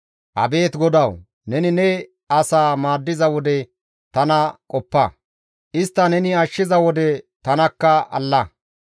Abeet GODAWU! Neni ne asaa maaddiza wode tana qoppa; istta neni ashshiza wode tanakka alla.